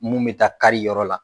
Mun bɛ taa kari yɔrɔ la